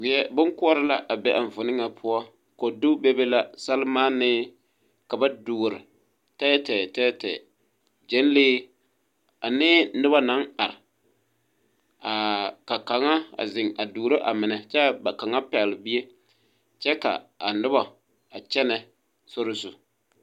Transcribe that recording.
Weɛ bonkoɔre la a be a eŋfuono ŋa poɔ kodu bebe la sɛlmaanii ka ba duore tɛɛtɛɛ tɛɛtɛɛ gyɛnlee anee noba naŋ are aa ka kaŋa a zeŋ duoɔro a mine kyɛ ka kaŋa pɛgle bie kyɛ kaa a noba a kyɛnɛ sori zu.